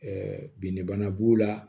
binnibana b'u la